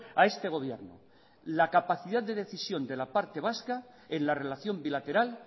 a este gobierno la capacidad de decisión de la parte vasca en la relación bilateral